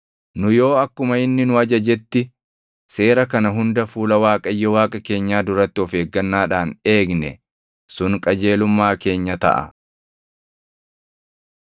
Nu yoo akkuma inni nu ajajetti seera kana hunda fuula Waaqayyo Waaqa keenyaa duratti of eeggannaadhaan eegne, sun qajeelummaa keenya taʼa.”